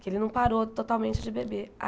Que ele não parou totalmente de beber.